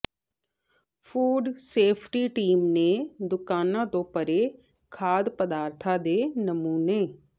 food safety team ਨੇ ਦੁਕਾਨਾਂ ਤੋਂ ਭਰੇ ਖਾਦ ਪਦਾਰਥਾਂ ਦੇ ਨਮੂੁਨੇ